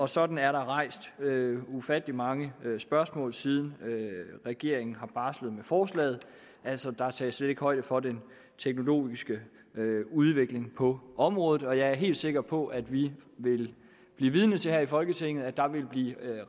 sådan er der rejst ufattelig mange spørgsmål siden regeringen barslede med forslaget altså der tages slet ikke højde for den teknologiske udvikling på området og jeg er helt sikker på at vi vil blive vidne til her i folketinget at der vil blive